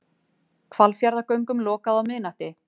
Hvalfjarðargöngum lokað á miðnætti